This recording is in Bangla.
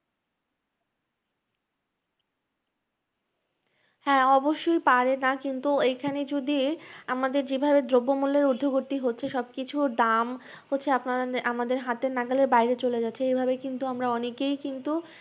হ্যাঁ অবশ্যই পারে না, কিন্তু এইখানে যদি আমাদের যেভাবে দ্রব্যমূল্যের ঊর্ধ্বগতি হচ্ছে সবকিছুর দাম হচ্ছে আমাদের হাতের নাগালের বাইরে চলে গেছে এভাবে কিন্তু আমরা অনেকেই কিন্তু